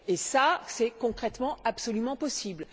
Et cela, c'est, concrètement, absolument possible.